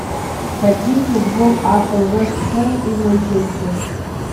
хотим футбол апл вест хэм и манчестер